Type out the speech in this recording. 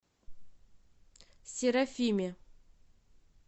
серафиме